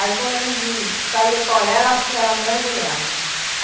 Aí quando a gente saía para olhar, ela ela mergulhava.